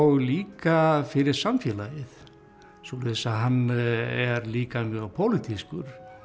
líka fyrir samfélagið svoleiðis að hann er líka mjög pólitískur